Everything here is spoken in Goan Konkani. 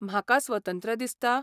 म्हाका स्वतंत्र दिसता?